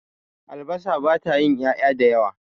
albasar ba ta yi ya' ya da yawa ba